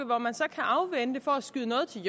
hvor man så kan afvente for at skyde noget til